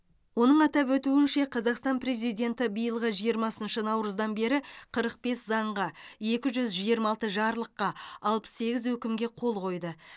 оның атап өтуінше қазақстан президенті биылғы жиырмасыншы наурыздан бері қырық бес заңға екі жүз жиырма алты жарлыққа алпыс сегіз өкімге қол қойды